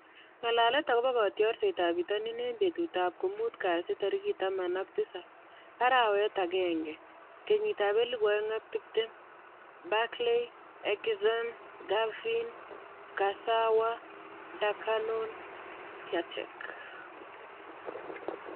Ng'alalet akobo kotiorsetab bitonin eng betutab komuut kasi tarik taman ak tisab, arawetab agenge , kenyitab elebu oeng ak tiptem: Barkley, Eriksen, Cavani, Kurzawa, Dakonam, Piatek